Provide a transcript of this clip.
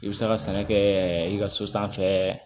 I bɛ se ka sɛnɛ kɛ i ka so sanfɛ